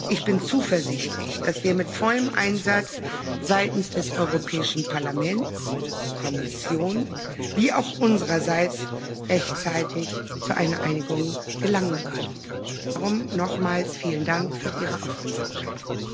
Ich bin zuversichtlich, dass wir mit vollem Einsatz seitens des Europäischen Parlaments, der Kommission wie auch unsererseits rechtzeitig zu einer Einigung gelangen können. Darum nochmals vielen Dank für Ihre Aufmerksamkeit.